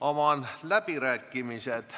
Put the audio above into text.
Avan läbirääkimised.